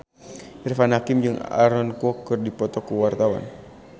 Irfan Hakim jeung Aaron Kwok keur dipoto ku wartawan